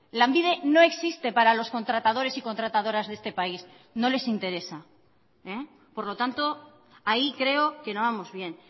lanbide no existe para los contratadores y contratadoras de este país no les interesa por lo tanto ahí creo que no vamos bien